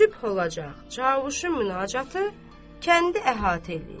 Sübh olacaq, Cavuşun münacatı kəndi əhatə eləyib.